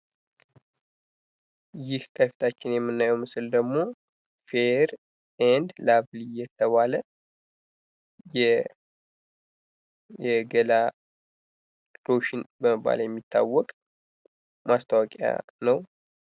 ይህ ከፊታችን የምናየው ምስል ደሞ ፌይር ኤንድ ላቭልይ የተባለ የገላ ሎሽን በመባል የሚታወቅ ማስታወቂያ ነው።